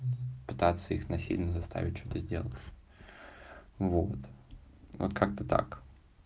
пытаться их насильно заставить что-то сделал вот вот как-то так